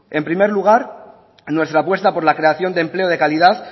en primer lugar nuestra apuesta por la creación de empleo de calidad